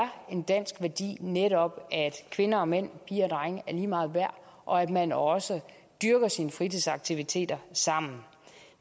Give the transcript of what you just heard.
en dansk værdi netop at kvinder og mænd piger og drenge er lige meget værd og at man også dyrker sine fritidsaktiviteter sammen